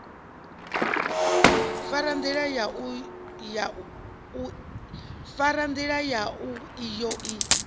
fara ndila yau iyo i